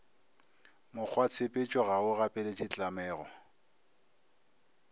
mokgwatshepetšo ga o gapeletše tlamego